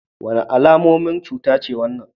Wannan alamomin wace cuta ne?